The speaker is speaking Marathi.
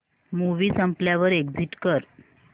मूवी संपल्यावर एग्झिट कर